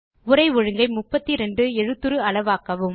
உரை ஒழுங்கை 32 எழுத்துரு அளவாக்கவும்